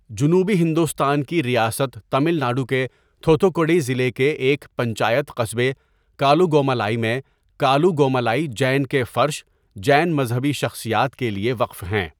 جنوبی ہندوستان کی ریاست تامل ناڈو کے تھوتھکوڈی ضلع کے ایک پنچایت قصبے کالوگومالائی میں کالوگومالائی جین کے فرش، جین مذہبی شخصیات کے لیے وقف ہیں۔